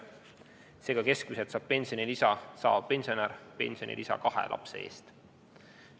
Seega, keskmiselt saab pensionilisa saav pensionär pensionilisa kahe lapse eest.